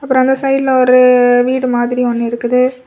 அப்புறம் அந்த சைடுல ஒரு வீடு மாதிரி ஒன்னு இருக்குது.